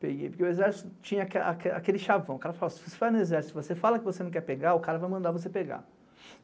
Peguei, porque o exército tinha aquele chavão, o cara falava, se você vai no exército e você fala que você não quer pegar, o cara vai mandar você pegar.